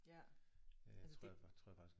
Ja altså det